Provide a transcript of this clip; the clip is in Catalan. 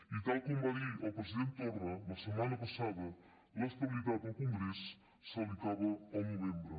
i tal com va dir el president torra la setmana passada l’estabilitat al congrés se li acaba el novembre